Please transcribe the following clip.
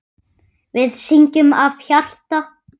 Við syngjum af hjarta.